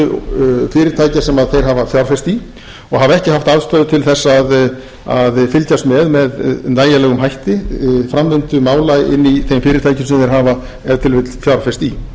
þeir hafa fjárfest í og hafa ekki haft aðstöðu til að fylgjast með með nægilegum hætti framvindu mála inni í þeim fyrirtækjum sem þeir hafa ef til vill fjárfest í menn spyrja kannski hvernig er hægt að skilgreina hugtakið